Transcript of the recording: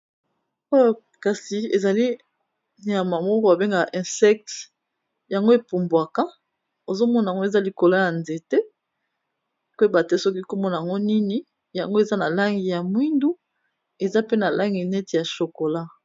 Oyo kasi ezali nyama moko ba bengaka insecte, yango e pumbuaka, ozo mon'ango eza likolo ya nzete, ko yeba te soki Kombo n'ango nini, yango eza na langi ya mwindu, eza pe na langi neti ya chokola .